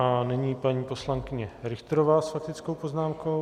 A nyní paní poslankyně Richterová s faktickou poznámkou.